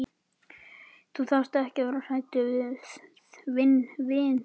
Þú þarft ekki að vera hræddur við vin þinn.